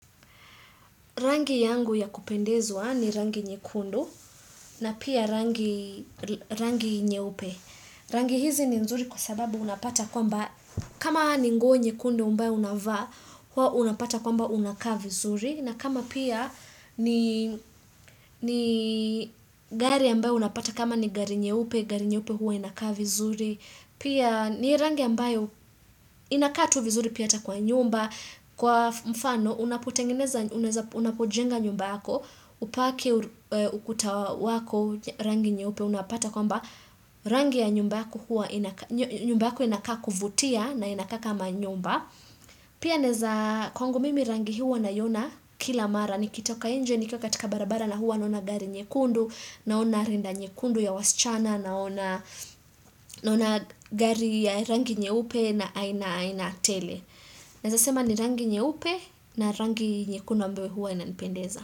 Rangi yangu ya kupendezwa ni rangi nyekundu na pia rangi nyeupe. Rangi hizi ni nzuri kwa sababu unapata kwamba kama ni nguo nyekundu ambayo unavaa unapata kwamba unakaa vizuri. Na kama pia ni gari ambayo unapata kama ni gari nyeupe, gari nyeupe huwa inaka vizuri. Pia ni rangi ambayo inakaa tu vizuri pia ata kwa nyumba, kwa mfano unapotengeneza, unapojenga nyumba hako. Upake ukuta wako rangi nyeupe unapata kwamba rangi ya nyumba huwa nyumba inakaa kuvutia na inakaa kama nyumba pia neza kwangu mimi rangi hua na yona kila mara nikitoka nje ni kwa katika barabara na hua naona gari nyekundu naona rinda nyekundu ya wasichana naona gari ya rangi nyeupe na aina aina tele naeza sema ni rangi nyeupe na rangi nyekundu ambayo huwa inanipendeza.